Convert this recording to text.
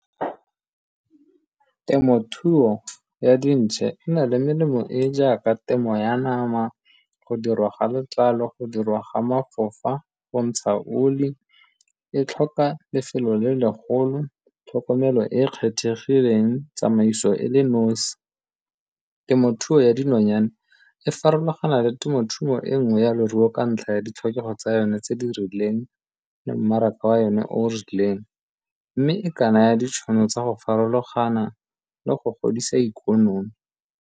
Temothuo ya dintšhe e na le melemo e e jaaka temo ya nama, go dirwa ga letlalo, go dirwa ga mafofa, go ntsha oli, e tlhoka lefelo le legolo, tlhokomelo e e kgethegileng, tsamaiso e le nosi. Temothuo ya dinonyane e farologana le temothuo e nngwe ya leruo ka ntlha ya ditlhokego tsa yone tse di rileng le mmaraka wa yone o o rileng mme e ka naya ditšhono tsa go farologana le go godisa ikonomi.